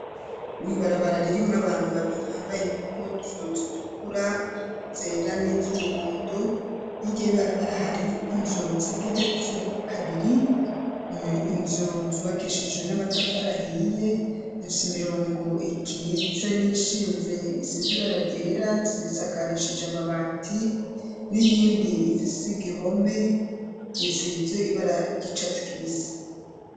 N'ibarabara ririmwo abantu babiri bambaye impuzu zitukura, zera, n'iz'umuhondo, hirya y'ibarabara hari inzu zigeretse kabiri, inzu zubakishijwe n'amatafari ahiye, zifise imirongo ikitse n'iyishinze, isize ibara ryera, zisakarishije amabati, n'iyindi ifise igihome, isize ibara ry'icatsi kibisi.